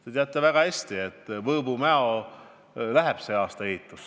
Te teate väga hästi, et Võõbu–Mäo läheb sel aastal ehitusse.